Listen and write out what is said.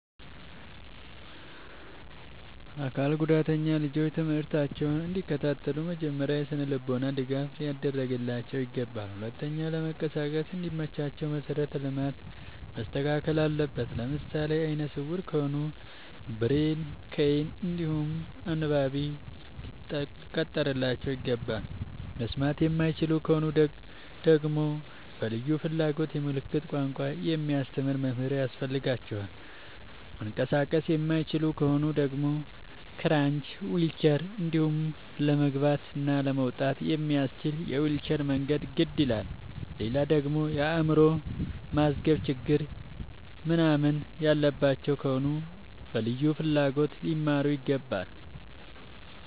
አካል ጉዳተኛ ልጆች ትምህርታቸውን እንዲ ከታተሉ መጀመሪያ የስነልቦና ድገፍ ሊደረግላቸው ይገባል። ሁለተኛ ለመንቀሳቀስ እንዲ መቻቸው መሰረተ ልማት መስተካከል አለበት። ለምሳሌ አይነስውራ ከሆኑ ብሬል ከይን እንዲሁም አንባቢ ሊቀጠርላቸው ይገባል። መስማት የማይችሉ ከሆኑ ደግመሞ በልዩ ፍላጎት የምልክት ቋንቋ የሚያስተምር መምህር ያስፈልጋቸዋል። መንቀሳቀስ የማይችሉ ከሆኑ ደግሞ ክራች ዊልቸር እንዲሁም ለመግባት እና ለመውጣት የሚያመች የዊልቸር መንገድ ግድ ይላላል። ሌላደግሞ የአይምሮ ማዝገም ችግር ምንናምን ያለባቸው ከሆኑ በልዩ ፍላጎት ሊማሩ ይገባል።